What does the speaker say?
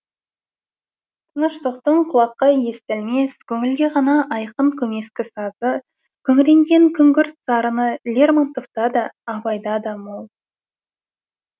тыныштықтың құлаққа естілмес көңілге ғана айқын көмескі сазы күңіренген күнгірт сарыны лермонтовта да абайда да мол